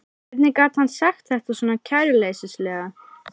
Hvernig gat hann sagt þetta svona kæruleysislega?